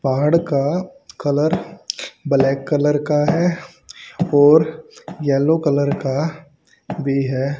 पहाड़ का colour black colour का है और येलो कलर का भी है।